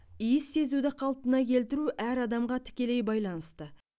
иіс сезуді қалпына келтіру әр адамға тікелей байланысты